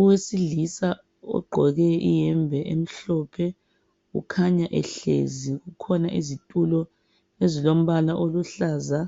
Owesilisa ogqoke iyembe emhlophe ukhanya ehlezi, kukhona izitulo ezilombala oluhlaza